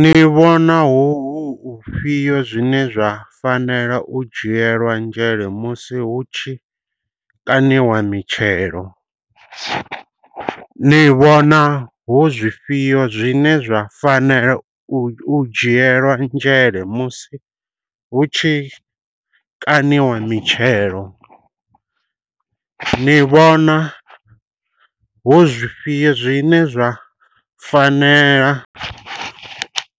Ni vhona hu hu hu fhio zwine zwa fanela u dzhielwa nzhele musi hu tshi kaṋiwa mitshelo. Ni vhona hu zwifhio zwine zwa fanela u u dzhielwa nzhele musi hu tshi kaṋiwa mitshelo. Ni vhona hu zwifhio zwine zwa fanela